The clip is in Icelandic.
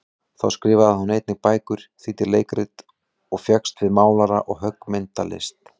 Þá skrifaði hún einnig bækur, þýddi leikrit, og fékkst við málara- og höggmyndalist.